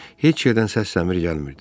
Heç yerdən səs-səmir gəlmirdi.